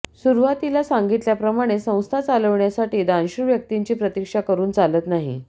सुरुवातीला सांगितल्याप्रमाणे संस्था चालवण्यासाठी दानशूर व्यक्तींची प्रतीक्षा करुन चालत नाही